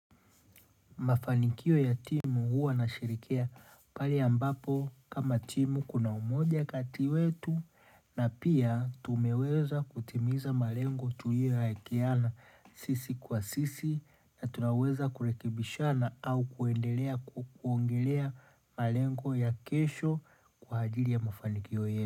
Mafanikio ya timu huwa nasherekea pale ambapo kama timu kuna umoja kati wetu na pia tumeweza kutimiza malengo tuliyoyaekeana sisi kwa sisi na tunaweza kurekebishana au kuendelea kuongelea malengo ya kesho kwa ajiri ya mafanikio yetu.